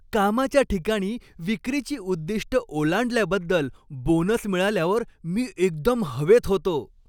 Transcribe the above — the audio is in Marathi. कामाच्या ठिकाणी विक्रीची उद्दिष्टं ओलांडल्याबद्दल बोनस मिळाल्यावर मी एकदम हवेत होतो.